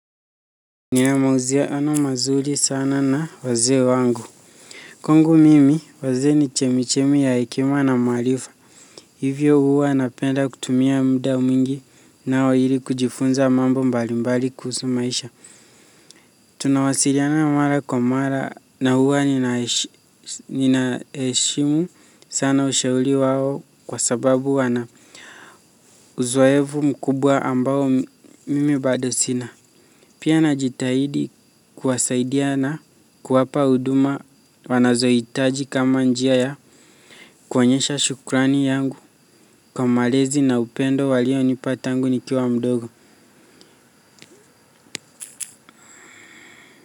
Nina mauzia ano mazuri sana na wazee wangu. Kwangu mimi, wazee ni chemichemi ya hekima na maarifa. Hivyo huwa napenda kutumia mda mingi nao ili kujifunza mambo mbalimbali kuhusu maisha. Tunawasiliana mara kwa mara na huwa ninaheshimu sana ushauri wao kwa sababu wana uzoevu mkubwa ambao mimi bado sina. Pia najitahidi kuwasaidia na kuwapa huduma wanazohitaji kama njia ya kuonyesha shukrani yangu kwa malezi na upendo walionipa tangu nikiwa mdogo.